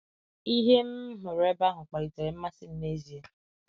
Ihe m m hụrụ ebe ahụ kpalitere mmasị m n’ezie.